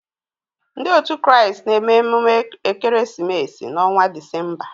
Ndị otu Kraịst na-eme emume ekeresimesi n'ọnwa Disemba.